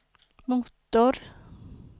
motor